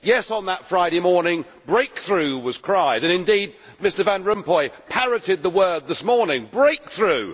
Yes, on that Friday morning breakthrough' was cried, and indeed Mr Van Rompuy parroted the word this morning breakthrough'.